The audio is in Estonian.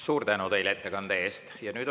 Suur tänu teile ettekande eest!